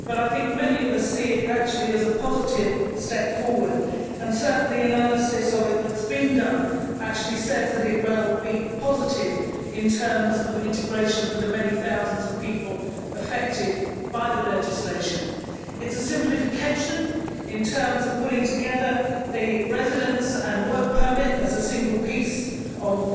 However I think many of us see it as a positive step forward, and certainly analysis of it that has been done says that it may be positive in terms of integration for the many thousands of people affected by the legislation. It is a simplification in terms of putting together the residence and work permit as a single piece of